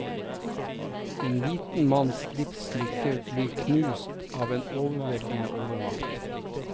En liten manns livslykke blir knust av en overveldende overmakt.